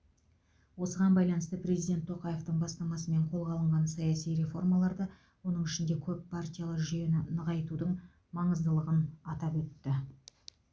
осыған байланысты президент тоқаевтың бастамасымен қолға алынған саяси реформаларды оның ішінде көп партиялы жүйені нығайтудың маңыздылығын атап өтті